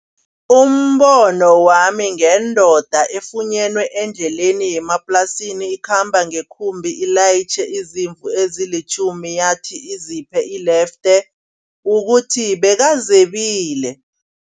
Umbono wami ngendoda efunyenwe endleleni yemaplasini. Ikhamba ngekhumbi ilayitjhe izimvu ezilitjhumi, yathi iziphe ilefte kukuthi bekazebile.